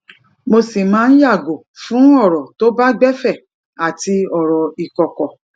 mo sì máa ń yàgò fún ọrọ tó bá gbẹ fẹ àti ọrọ ìkọkọ